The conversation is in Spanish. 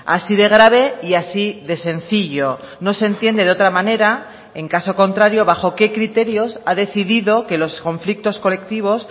así de grave y así de sencillo no se entiende de otra manera en caso contrario bajo qué criterios ha decidido que los conflictos colectivos